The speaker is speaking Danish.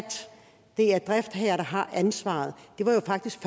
det er driftsherren der har ansvaret det var jo faktisk